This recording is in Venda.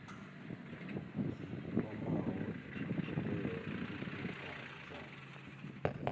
dzi kwamaho thodea thukhu dza